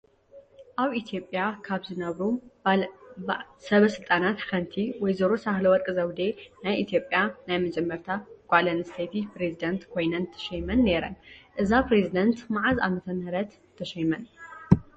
አብ ኢትዮጲያ ካብ ዝነበሩ ስበስልጣናት ሓንቲ ወይዘሮ ሳህለወረቅ ዘውዴ ናይ ኢትዮጲያ ናይ መጀመርታ ጋል አንስተይቲ ፕሪዚዳንት ኮይነነ ተሾይመን ነይረን። እዛ ፕሬዝዳንት መዓዝ ዓመተምህርት ተሾይመን?